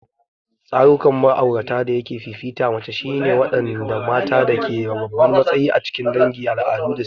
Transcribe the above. Tsarukan ma'aurata dayake fifita mace shine ne waɗanda mata ke da babban matsayi a cikin dangi, al'adu, da siyasa.